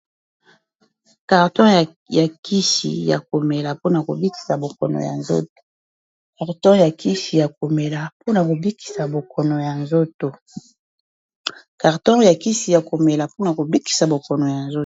Carton ya kisi ya komela mpona kobikisa bokono ya nzoto.